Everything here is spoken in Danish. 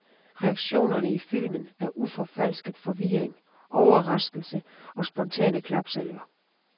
Reaktionerne i filmen er uforfalsket forvirring, overraskelse og spontane klapsalver.